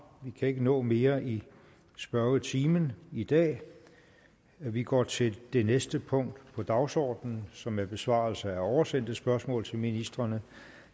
vi kan ikke nå mere i spørgetimen i dag vi går til det næste punkt på dagsordenen som er besvarelse af oversendte spørgsmål til ministrene